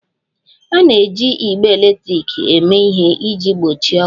A na-eji igbe eletrik eme ihe iji gbochie ọkụ